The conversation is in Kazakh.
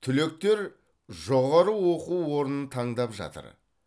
түлектер жоғары оқу орнын таңдап жатыр